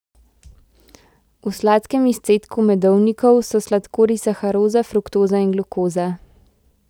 V sladkem izcedku medovnikov so sladkorji saharoza, fruktoza in glukoza.